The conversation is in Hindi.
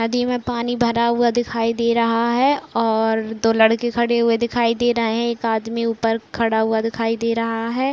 नदी में पानी भरा हुआ दिखाई दे रहा है और दो लड़के खड़े हुए दिखाई दे रहे हैं। एक आदमी ऊपर खड़ा हुआ दिखाई दे रहा है।